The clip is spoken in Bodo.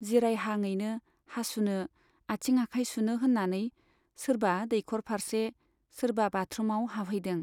जिरायहाङैनो हासुनो, आथिं आखाय सुनो होन्नानै सोरबा दैखरफार्से, सोरबा बाथरुमाव हाबहैदों।